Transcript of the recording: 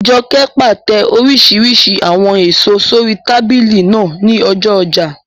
Jọkẹ́ pàtẹ oríṣiríṣi àwọn èèso sórí tábìlì náà ní ọjọ́ ọjà